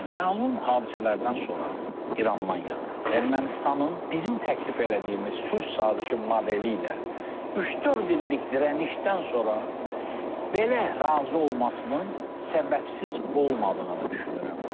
Məlum hadisələrdən sonra, İrandan yəni, Ermənistanın bizim təklif elədiyimiz sülh sazişi modeli ilə üç-dörd illik dirənişdən sonra belə razı olmasının səbəbsiz olmadığını düşünürəm.